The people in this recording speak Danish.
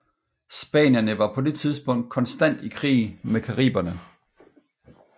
Spanierne var på det tidspunkt konstant i krig med Cariberne